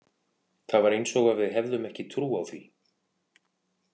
Það var eins og við hefðum ekki trú á því.